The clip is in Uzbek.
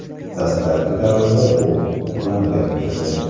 Dastlabki davrda bu oqlangan edi.